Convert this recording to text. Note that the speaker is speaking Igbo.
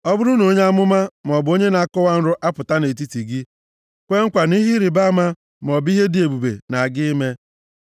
Ọ bụrụ na onye amụma, maọbụ onye na-akọwa nrọ apụta nʼetiti gị kwee nkwa na ihe ịrịbama maọbụ ihe dị ebube na-aga ime,